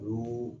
Olu